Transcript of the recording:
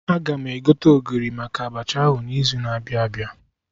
Aga m egote Ogiri maka Abacha ahụ n'izu na-abịa abịa